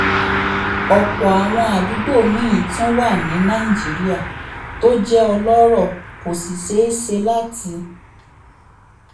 ọ̀pọ̀ àwọn àdúgbò míì tún wà ní nàìjíríà tó jẹ́ ọlọ́rọ̀ kò sì ṣeé ṣe láti